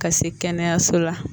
Ka se kɛnɛyaso la